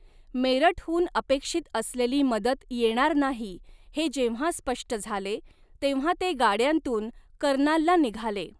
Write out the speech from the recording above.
मेरठहून अपेक्षित असलेली मदत येणार नाही हे जेव्हा स्पष्ट झाले, तेव्हा ते गाड्यांतून कर्नालला निघाले.